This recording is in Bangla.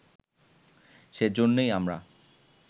সে জন্যেই আমরা